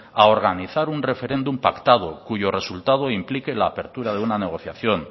a organizar un referéndum pactado cuyo resultado implique la apertura de una negociación